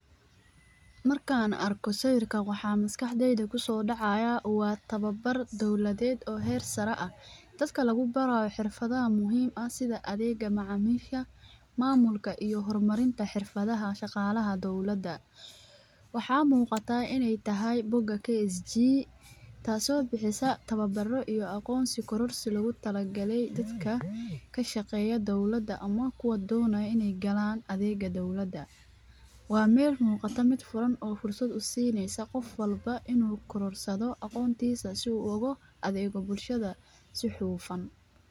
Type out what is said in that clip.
Markaan arko sawirka waxaa maskaxdeyda ku soo dhacaya u ah tababar dawladeed oo heer sare ah, dadka lagu barayo xirfada muhiim ah sida adeega macaamiisha, maamulka iyo hormarinta xirfadaha shaqaalaha dowladda. Waxaa muuqata inay tahay book KSG taasoo bixisa tababaro iyo aqoonsi kororsil lagu talagalay dadka ka shaqeeya dawladda ama kuwa doonayo inay galaan adeega dawladaha. Waa meel muuqata mid furan oo fursad u siineysa qof walba inuu kororsado aqoontiisa si uu logo adeego bulshada si xuufan.